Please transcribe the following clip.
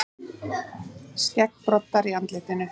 Skeggbroddar í andlitinu.